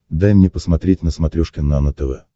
дай мне посмотреть на смотрешке нано тв